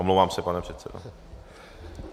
Omlouvám se, pane předsedo.